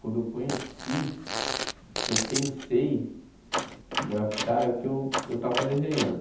Quando eu conheci, que eu pensei em grafitar, é que eu eu estava desenhando.